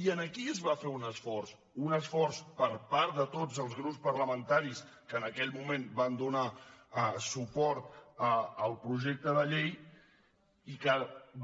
i aquí es va fer un esforç un esforç per part de tots els grups parlamentaris que en aquell moment van donar suport al projecte de llei i que